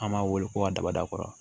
An b'a wele ko abada kɔrɔ